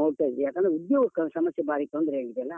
ಹೊರಟದ್ದು. ಯಾಕಂದ್ರೆ ಉದ್ಯೋಗ ಸಮಸ್ಯೆ ಬಾರಿ ತೊಂದ್ರೆ ಆಗಿದೆ ಅಲ್ಲ.